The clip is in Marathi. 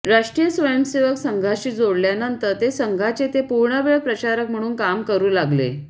राष्ट्रीय स्वयंसेवक संघाशी जोडल्यानंतर ते संघाचे ते पूर्णवेळ प्रचारक म्हणून काम करु लागले